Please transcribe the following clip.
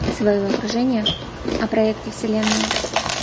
своего окружения о проекте вселенная